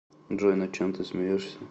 джой над чем ты смеешься